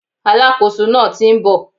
Alákóso náà ti n bò